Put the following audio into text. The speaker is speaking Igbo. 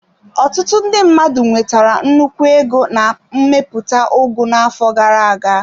Ọtụtụ ndị mmadụ nwetara nnukwu ego na mmepụta ugu n'afọ gara aga.